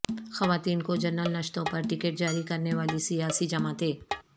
خواتین کو جنرل نشستوں پر ٹکٹ جاری کرنے والی سیاسی جماعتیں